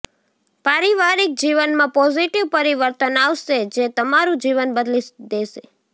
પારિવારિક જીવનમાં પોઝીટીવ પરિવર્તન આવશે જે તમારું જીવન બદલી દેશે